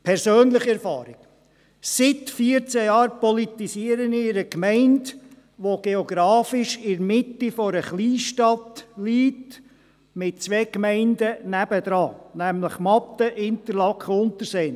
Eine persönliche Erfahrung: Seit 14 Jahren politisiere ich in einer Gemeinde, die geografisch in der Mitte einer Kleinstadt liegt, mit zwei Gemeinden daneben, nämlich Matten-Interlaken-Unterseen.